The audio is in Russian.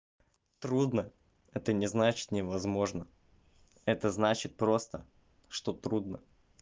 трудно это не значит невозможно это значит просто что трудно